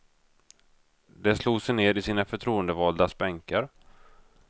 Det slog sig ned i sina förtroendevaldas bänkar.